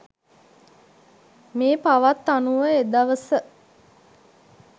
මෙ පවත් අනුව එදවස